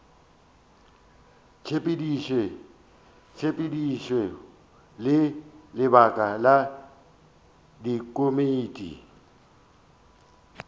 tshepedišo le lebaka la dikomiti